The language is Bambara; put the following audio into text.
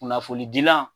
Kunnafonidilan